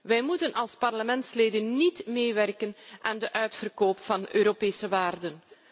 Wij mogen als parlementsleden niet meewerken aan de uitverkoop van Europese waarden.